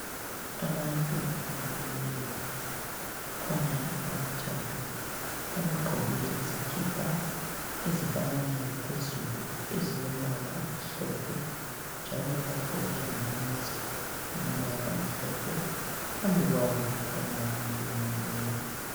Abantu abamileyo. Kukhona abathathu. Abagqoke izikipa ezifananayo phezulu ezilombala omhlophe njalo bagqoke lamamask alombala omhlophe. Phambi kwabo kukhona umuntu omileyo.